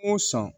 O sɔn